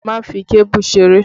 Má fi kébù ṣeré!